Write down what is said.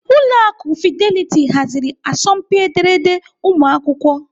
Ụlọ akụ Fidelity haziri asọmpi ederede ụmụakwụkwọ.